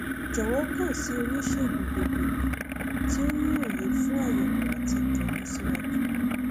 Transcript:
jọwọ kàn sí onísègùn gbogbogbò tí ó ní òye fún àyẹwò àti ìtọjú síwájú